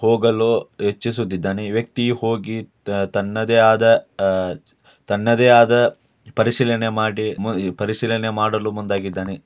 ಹೋಗಲು ಇಚ್ಛಿಸುತ್ತಿದ್ದಾನೆ ಈ ವ್ಯಕ್ತಿ ಹೋಗಿ ತನ್ನದೇ ಆದ ಆಹ್ ತನ್ನದೇ ಆದ ಪರಿಶೀಲನೆ ಮಾಡಿ ಪರಿಶೀಲನೆ ಮಾಡಲು ಮುಂದಾಗಿದ್ದಾನೆ.